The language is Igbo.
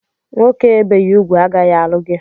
Nwoke ebeghị ugwu agaghị alụ gị!